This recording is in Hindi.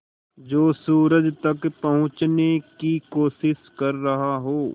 जो सूरज तक पहुँचने की कोशिश कर रहा हो